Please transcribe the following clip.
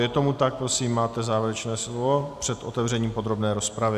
Je tomu tak, prosím, máte závěrečné slovo před otevřením podrobné rozpravy.